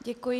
Děkuji.